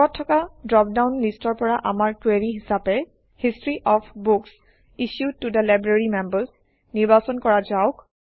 ওপৰত থকা ড্ৰপডাউন লিষ্টৰ পৰা আমাৰ কুৱেৰি হিচাপে হিষ্টৰী অফ বুক্স ইছ্যুড ত থে লাইব্ৰেৰী মেম্বাৰ্ছ নিৰ্বাচন কৰা যাওক